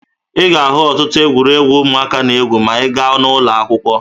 Ị ga-ahụ ọtụtụ egwuregwu ụmụaka na-egwu ma ị gaa n'ụlọakwụkwọ